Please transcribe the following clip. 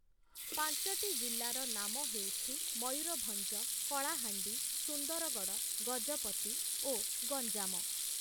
ପାଞ୍ଚଟି ଜିଲ୍ଲାର ନାମ ହେଉଛି ମୟୂରଭଞ୍ଜ, କଳାହାଣ୍ଡି, ସୁନ୍ଦରଗଡ଼, ଗଜପତି ଓ ଗଞ୍ଜାମ ।